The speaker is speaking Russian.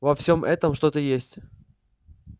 во всем этом что-то есть